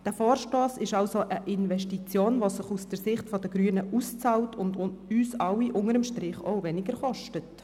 Dieser Vorstoss ist somit eine Investition, die sich aus Sicht der Grünen auszahlt und uns alle unter dem Strich weniger kostet.